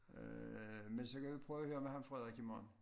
*h men så kan vi prøve og høre med ham Frederik i morgen